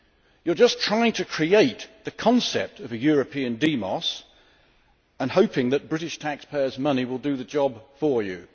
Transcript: You are just trying to create the concept of a European demos and hoping that British taxpayers' money will do the job for you.